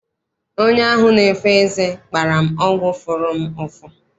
Onye ahụ na-efo eze gbara m ọgwụ fụrụ m ụfụ.